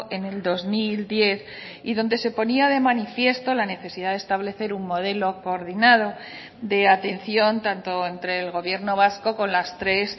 en el dos mil diez y donde se ponía de manifiesto la necesidad de establecer un modelo coordinado de atención tanto entre el gobierno vasco con las tres